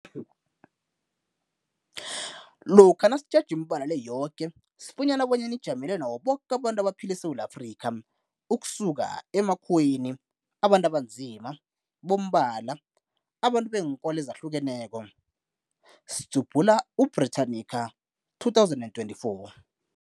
Lokha nasitjheja imibala le yoke sifunyana bona ijamele nabo boke abantu abaphila eSewula Afrika, ukusuka kumakhuwa, abantu abanzima, bombala, abantu beenkolo ezahlukeneko, Britannica 2024.